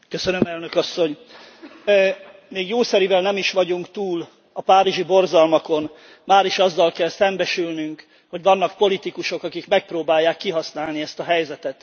Elnök Asszony, még jószerivel nem is vagyunk túl a párizsi borzalmakon, máris azzal kell szembesülnünk, hogy vannak politikusok, akik megpróbálják kihasználni ezt a helyzetet.